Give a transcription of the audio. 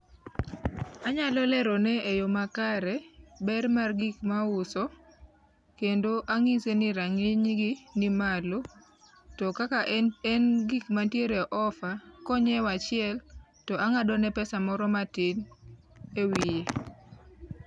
Anyalo lerone e yo makare ber mar gik ma auso kendo anyise ni ranginy gi ni malo to kaka en gikma nitie e offer, ka ongiew achiel to angadone pesa moro matin e wiye